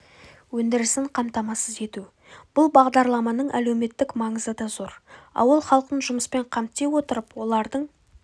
өндірісін қамтамасыз ету бұл бағдарламаның әлеуметтік маңызы да зор ауыл іалқын жұмыспен қамти отырып олардың